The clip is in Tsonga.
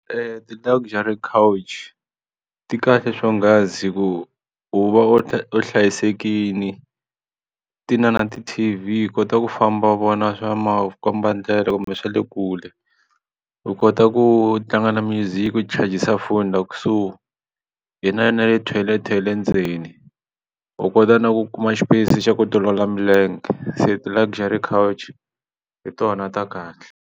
I ti-Luxury Coach ti kahle swonghasi hi ku u va u hlayisekile ti na ti-T_V u kota ku famba vona swa makombandlela kumbe swa le kule u kota ku tlanga na music u chajisa foni laha kusuhi hi na na le tithoyilete ya le ndzeni u kota na ku kuma xipeyisi xa ku tiolola milenge se ti-Luxury Coach or hi tona ta kahle.